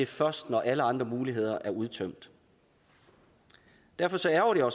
først ske når alle andre muligheder er udtømt derfor ærgrer